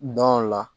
Dɔn o la